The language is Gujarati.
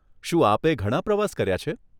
શું આપે ઘણાં પ્રવાસ કર્યાં છે?